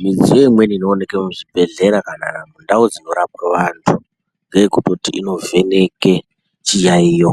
Midziyo imweni inooneke muzvibhedhlera kana ndau dzinorapwe vanthu, ngeyekutoti inovheneke chiyaiyo.